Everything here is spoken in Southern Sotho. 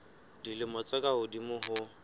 dilemo tse ka hodimo ho